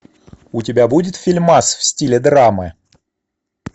у тебя будет фильм в стиле драмы